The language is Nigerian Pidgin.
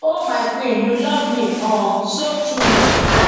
oh my queen you love me um so truly